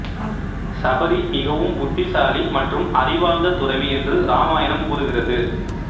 சபரி மிகவும் புத்திசாலி மற்றும் அறிவார்ந்த துறவி என்று ராமாயணம் கூறுகிறது